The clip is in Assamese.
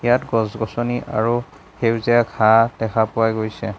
ইয়াত গছ-গছনি আৰু সেউজীয়া ঘাঁহ দেখা পোৱা গৈছে।